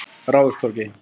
Ráðhústorgi